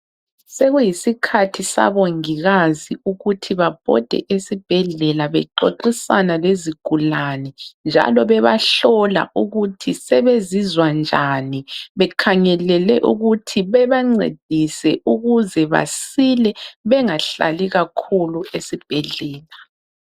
Sekuyisikhathi sabongikazi ukuthi babhode esibhedlela bexoxisana lezigulane njalo bebahlola ukuthi sebezizwa njani bekhangelele ukuthi bebancedise ukuze basile bengahlali kakhulu esibhedlela.